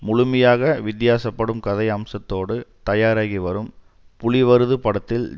முழுமையாக வித்தியாசப்படும் கதை அம்சத்தோடு தயாராகி வரும் புலி வருது படத்தில்